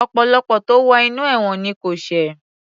Ọ̀pọ̀lọpọ̀ tó wo inú ẹ̀wọ̀n ni kò ṣẹ̀